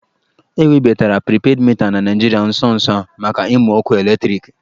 E webatara pripedị mita na Naịjirịa nso nso a maka ịmụ ọkụ eletriki